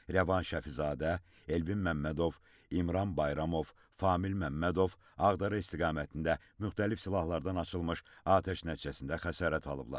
Rəvan Şəfizadə, Elvin Məmmədov, İmran Bayramov, Famil Məmmədov Ağdərə istiqamətində müxtəlif silahlardan açılmış atəş nəticəsində xəsarət alıblar.